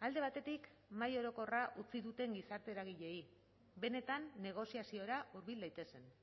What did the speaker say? alde batetik mahai orokorra utzi duten gizarte eragileei benetan negoziaziora hurbil daitezen